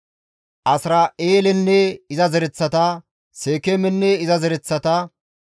Asira7eelenne iza zereththata, Seekeemenne iza zereththata,